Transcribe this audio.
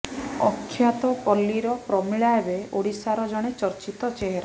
ଅଖ୍ୟାତ ପଲ୍ଲୀର ପ୍ରମିଳା ଏବେ ଓଡ଼ିଶାର ଜଣେ ଚର୍ଚ୍ଚିତ ଚେହେରା